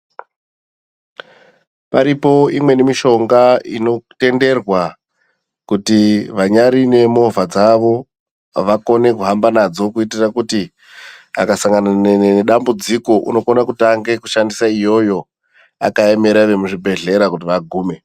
Paripo imweni mishonga inotenderwa kuti vanyari nemovha dzavo vakone kuhamba nadzo kuitire kuti akasangana nedambudziko unokone kutange kushandise iyoyo, akaemwera vemuzvibhedhlera kuti vagume.